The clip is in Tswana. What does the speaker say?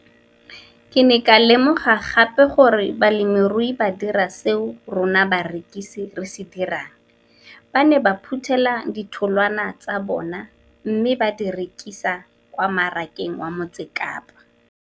Ke ne ka lemoga gape gore balemirui ba dira seo rona barekisi re se dirang, ba ne ba phuthela ditholwana tsa bona mme ba di rekisa kwa marakeng wa Motsekapa.